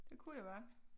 Det kunne det være